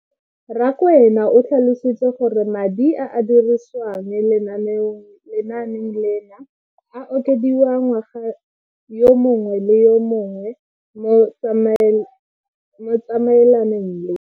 Rakwena o tlhalositse gore madi a a dirisediwang lenaane leno a okediwa ngwaga yo mongwe le yo mongwe go tsamaelana le.